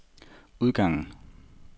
udgangen